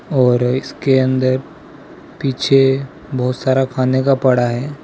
और इसके अंदर पीछे बहोत सारा खाने का पड़ा है।